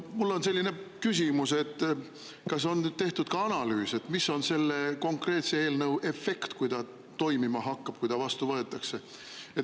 Mul on selline küsimus, et kas on tehtud ka analüüs, milline on selle konkreetse eelnõu efekt, kui ta toimima hakkab, kui ta vastu võetakse.